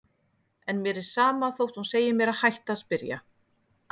En mér er sama þótt hún segi mér að hætta að spyrja.